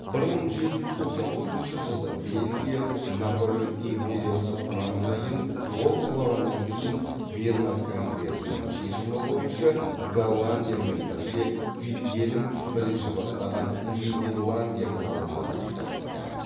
бір мың жеті жүз тоқсан төртінші бельгия наполеон империясы құрамына еніп ол құлағаннан кейін вена конгресінің шешімі бойынша голландиямен бірге вильгельм бірінші бастаған нидерландия корольдығына бірікті